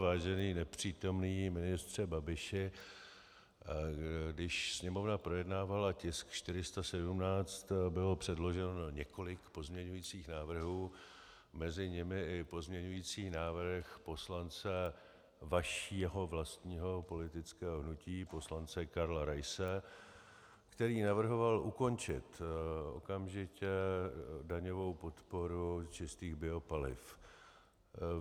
Vážený nepřítomný ministře Babiši, když Sněmovna projednávala tisk 417, bylo předloženo několik pozměňovacích návrhů, mezi nimi i pozměňovací návrh poslance vašeho vlastního politického hnutí, poslance Karla Raise, který navrhoval ukončit okamžitě daňovou podporu čistých biopaliv.